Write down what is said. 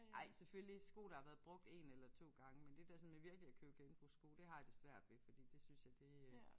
Ej selvfølgelig sko der har været brugt 1 eller 2 gange men det der sådan med virkelig at købe genbrugssko det har jeg det svært ved fordi det synes jeg det øh